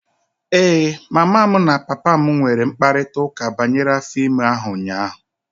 Ee, mama m na papa m nwere mkparịta ụka banyere afọ ime ahụ ụnyaahụ.